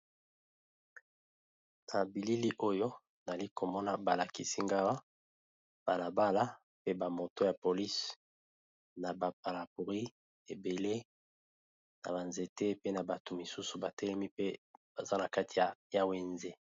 Na bilili oyo nazali balakisi nga awa, eza balabala, naba moto, eza na kati ya wenze